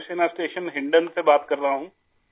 فضائیہ کے اسٹیشن ہنڈن سے بات کر رہا ہوں